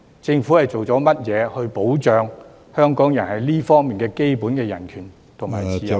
政府究竟做了甚麼來保障香港人在這方面的基本人權和自由呢......